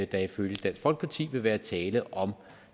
der ifølge dansk folkeparti vil være tale om